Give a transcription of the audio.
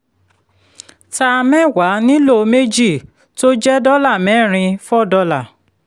ta mẹ́wàá nílò méjì tó jẹ́ dọ́là mẹ́rin four dollar